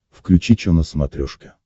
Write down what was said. включи че на смотрешке